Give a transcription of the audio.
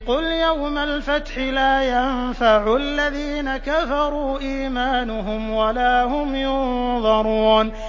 قُلْ يَوْمَ الْفَتْحِ لَا يَنفَعُ الَّذِينَ كَفَرُوا إِيمَانُهُمْ وَلَا هُمْ يُنظَرُونَ